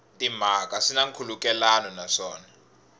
timhaka swi na nkhulukelano naswona